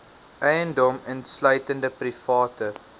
eiendom insluitende private